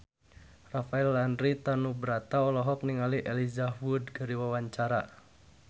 Rafael Landry Tanubrata olohok ningali Elijah Wood keur diwawancara